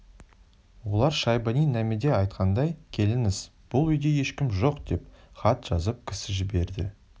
олар шайбани намедеайтқандай келіңіз бұл үйде ешкім жоқдеп хат жазып кісі жіберді